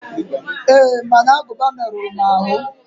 Ee, mana aguba meruru m aru.